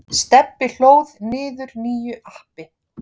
Stebbi hlóð niður nýju appi.